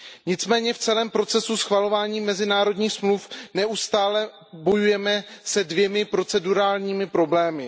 Nicméně v celém procesu schvalování mezinárodních dohod neustále bojujeme se dvěma procedurálními problémy.